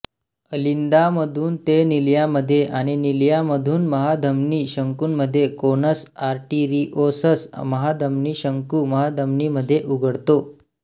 अलिंदामधून ते निलयामध्ये आणि निलयामधून महाधमनी शंकूमध्ये कोनस आर्टेरिओसस महाधमनी शंकू महाधमनीमध्ये उघडतो